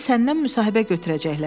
Yəni səndən müsahibə götürəcəklər.